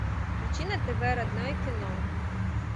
включи на тв родное кино